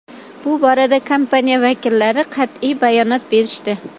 Bu borada kompaniya vakillari qat’iy bayonot berishdi.